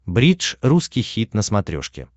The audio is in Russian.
бридж русский хит на смотрешке